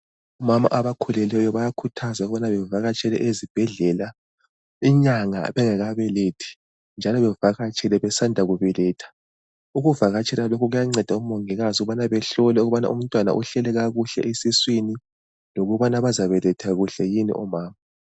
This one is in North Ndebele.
Omama abakhulileyo bayakhuthazwa ukubana bavakatshele ezibhedlela inyanga bengakabelethi njalo bevakatshele besanda kubeletha. Ukuvakatshela lokhu kuyanceda omongikazi ukubana behlole ukubana umntwana uhleli kakuhle yini esiswini lokubana bazabeletha kuhle yini omama.